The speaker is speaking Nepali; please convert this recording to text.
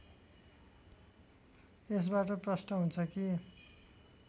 यसबाट प्रष्ट हुन्छ कि